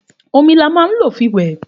Òmí là mà ń lo fí wẹ